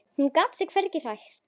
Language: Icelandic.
Hún gat sig hvergi hrært.